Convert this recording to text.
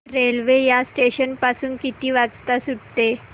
railway या station पासून किती वाजता सुटते